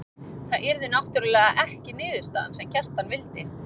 Það yrði náttúrlega ekki niðurstaðan sem Kjartan vildi.